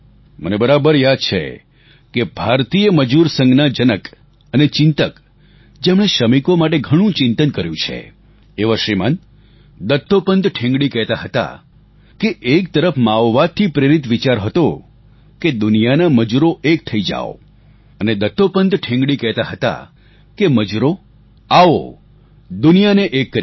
મને બરાબર યાદ છે કે ભારતીય મજૂર સંઘના જનક અને ચિંતક જેમણે શ્રમિકો માટે ઘણું ચિંતન કર્યું છે એવા શ્રીમાન દત્તોપંત ઠેંગડી કહેતા હતા કે એક તરફ માઓવાદથી પ્રેરિત વિચાર હતો કે દુનિયાના મજૂરો એક થઈ જાઓ અને દત્તોપંત ઠેંગડી કહેતા હતા કે મજૂરો આવો દુનિયાને એક કરીએ